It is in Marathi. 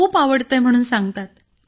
खूप आवडतंय म्हणून सांगतात